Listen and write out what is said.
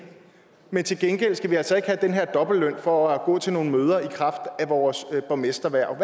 men til gengæld skal vi altså heller ikke have den her dobbeltløn for at gå til nogle møder i kraft af vores borgmesterhverv